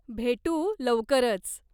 भेटू लवकरच.